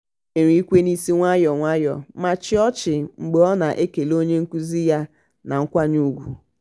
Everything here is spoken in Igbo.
o nyere ikwe n'isi nwayọ nwayọ ma chịa ọchị mgbe ọ na-ekele onye nkụzi ya na nkwanye ugwu.